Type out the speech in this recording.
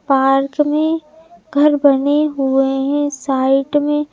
park में घर बने हुए हैं साइट में--